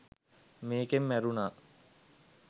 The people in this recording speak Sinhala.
මේකෙන් මැරුණා